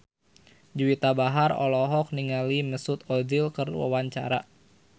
Juwita Bahar olohok ningali Mesut Ozil keur diwawancara